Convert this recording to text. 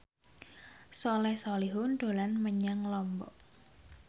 Soleh Solihun dolan menyang Lombok